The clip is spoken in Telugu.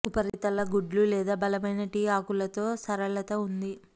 ఉపరితల గుడ్లు లేదా బలమైన టీ ఆకులు తో సరళత ఉంది